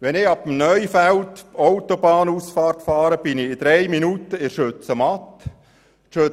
Wenn ich ab der Neufeld-Autobahnausfahrt fahre, bin ich nach drei Minuten bei der Schützenmatte.